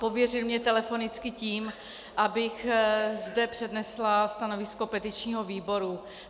Pověřil mě telefonicky tím, abych zde přednesla stanovisko petičního výboru.